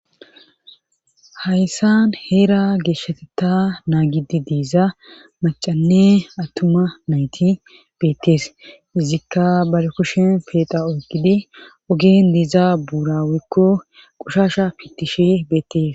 hayssan heera geeshshateta naagidi deeza macanne attuma nayti beettees izikka bal kushin peeqa oykgidi ogen deiza buurawekko qushasha pitishi beettees